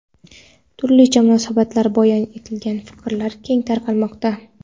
turlicha munosabatlar bayon etilgan fikrlar keng tarqalmoqda.